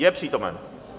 Je přítomen?